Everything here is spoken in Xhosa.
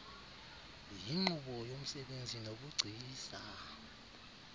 yinkqubo yomsebenzi nobugcisa